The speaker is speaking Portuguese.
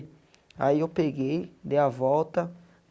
Aí eu peguei, dei a volta.